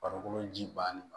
Farikolo ji bannen do